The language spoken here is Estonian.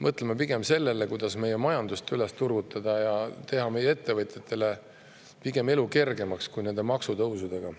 Mõtleme pigem sellele, kuidas meie majandus üles turgutada ja teha meie ettevõtjate elu pigem kergemaks, mitte nende maksutõusudega.